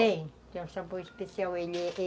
Tem, tem um sabor especial. Ele